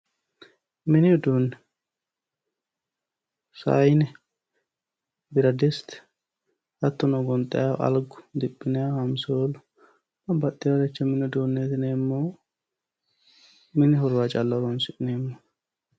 Mini uduunne sayiine biradiste hattono gonxayiihu algu diphinayiihu hansoolu babbaxxeyooricho mini udunneeti yinannihu mini horora calla hosannoho